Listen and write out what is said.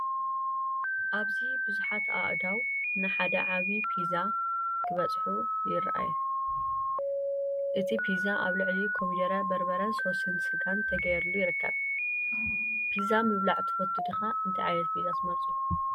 ኣብዚ ብዙሓት ኣእዳው ንሓደ ዓቢ ፒዛ ክበጽሑ ይረኣዩ። እቲ ፒዛ ኣብ ልዕሊኡ ኮሚደረ፡ በርበረን ሶስ ስጋን ተገይሩሉ ይርከብ። ፒዛ ምብላዕ ትፈቱ ዲኻ? እንታይ ዓይነት ፒዛ ትመርጹ?